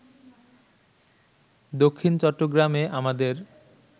দক্ষিণ চট্টগ্রামে আমাদের